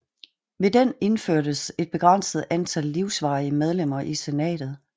Ved den indførtes et begrænset antal livsvarige medlemmer i senatet